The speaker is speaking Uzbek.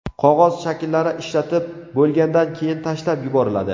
Qog‘oz shaklchalar ishlatib bo‘lgandan keyin tashlab yuboriladi.